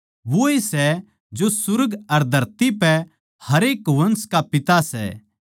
वोए सै जो सुर्ग अर धरती पे हरेक वंश का पिता सै